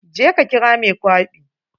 Je ka kira mai kwaɓi.